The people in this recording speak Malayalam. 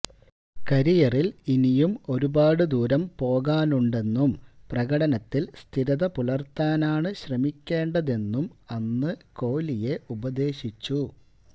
കരയിറിൽ ഇനിയും ഒരുപാട് ദൂരം പോകാനുണ്ടെന്നും പ്രകടനത്തിൽ സ്ഥിരത പുലർത്താനാണ് ശ്രമിക്കേണ്ടതെന്നും അന്നു കോലിയെ ഉപദേശിച്ചു